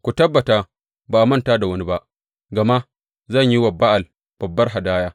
Ku tabbata ba a manta da wani ba, gama zan yi wa Ba’al babbar hadaya.